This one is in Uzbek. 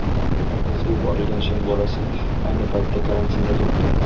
Markazga yuborilgan sher bolasi ayni paytda karantinda turibdi.